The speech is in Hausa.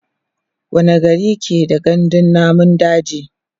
wani gari ke da gandun namun daji?